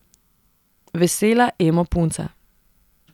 Vesela emo punca.